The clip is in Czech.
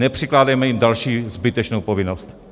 Nepřikládejme jim další zbytečnou povinnost.